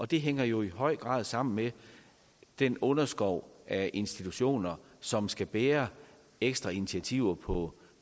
det hænger jo i høj grad sammen med at den underskov af institutioner som skal bære ekstra initiativer på